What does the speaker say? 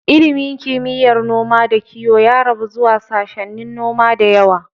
Ilimin kimiyyar noma da kiyo ya rabu zuwa sashennin noma da yawa.